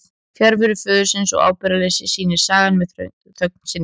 Fjarveru föðurins og ábyrgðarleysi sýnir sagan með þögn sinni.